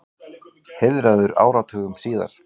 Heiðraður áratugum síðar